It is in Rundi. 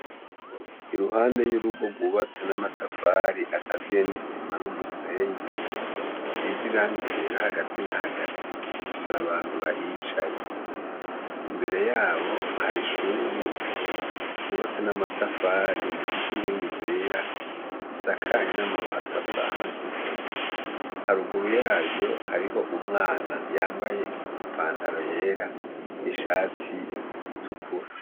Iruhande y'urugo rwubatse n'amatafari akaziye n'isima n'umusenyi rusize irangi hagati na gahati. Hari abantu bahicaye ,mbere yaho hari ishure ryubatse namatafari rifise inkingi zera zisakaye namabati asakaye sanzwe haruguru yayo hari ho umwana yambaye ipantaro yera n'ishati itukura.